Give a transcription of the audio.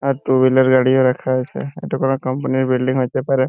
আর two wheeler গাড়িও রাখা আছে এটা কোনো কোম্পানির বিল্ডিং হইতে পারে